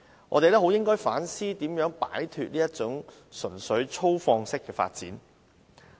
我們應反思如何擺脫這種純粹粗放式的發展。